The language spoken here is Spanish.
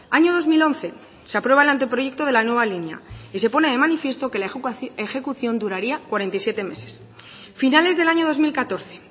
año dos mil once se aprueba el anteproyecto de la nueva línea y se pone de manifiesto que la ejecución duraría cuarenta y siete meses finales del año dos mil catorce